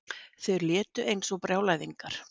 Þau létu eins og brjálæðingar.